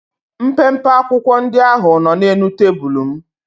Mpempe akwụkwọ ndị ahụ nọ n'elu tebụlụ m.